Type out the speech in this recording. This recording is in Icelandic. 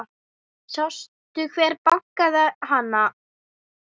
Sástu hver bakaði hana?